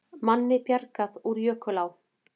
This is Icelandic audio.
Manni bjargað úr jökulá